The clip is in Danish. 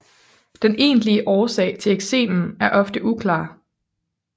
Den egentlig årsag til eksemen er ofte uklar